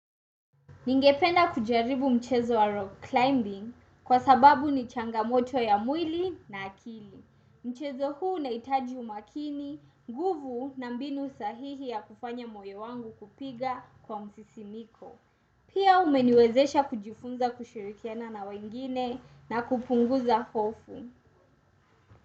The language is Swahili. Ningependa kujaribu mchezo wa rock climbing kwa sababu ni changamoto ya mwili na akili. Mchezo huu nahitaji umakini, nguvu na mbinu sahihi ya kufanya moyo wangu kupiga kwa msisimko. Pia umeniwezesha kujifunza kushirikiana na wengine na kupunguza hofu.